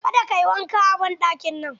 Ka da ka yi wanka a banɗakin nan!